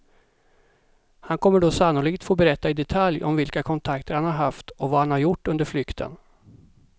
Han kommer då sannolikt få berätta i detalj om vilka kontakter han har haft och vad han har gjort under flykten.